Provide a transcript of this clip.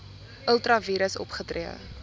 ultra vires opgetree